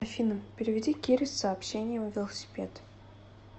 афина переведи кире с сообщением велосипед